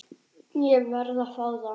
Ég verð að fá það!